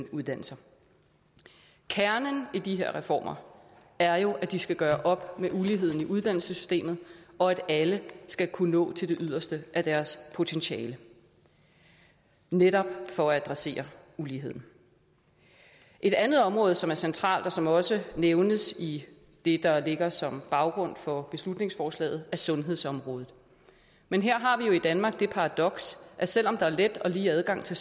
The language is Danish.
uddannelser kernen i de her reformer er jo at de skal gøre op med uligheden i uddannelsessystemet og at alle skal kunne nå til det yderste af deres potentiale netop for at adressere uligheden et andet område som er centralt og som også nævnes i det der ligger som baggrund for beslutningsforslaget er sundhedsområdet men her har vi jo i danmark det paradoks at selv om der er let og lige adgang til